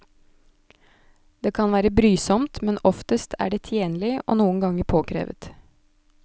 Det kan være brysomt, men oftest er det tjenlig, og noen ganger påkrevet.